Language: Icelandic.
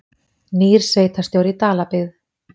Nýr sveitarstjóri í Dalabyggð